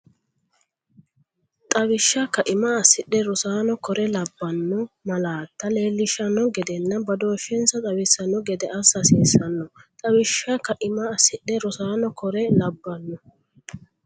Xawishsha kaima assidhe rosaano kore labbanno malaatta leellishshanno gedenna badooshshensa xawissanno gede assa hasiissnno Xawishsha kaima assidhe rosaano kore labbanno.